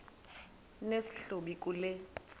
nesi hlubi kule